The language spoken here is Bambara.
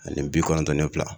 Ani bi kɔnɔntɔn ni fila